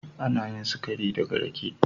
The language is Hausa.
Ana yin sikari daga rake.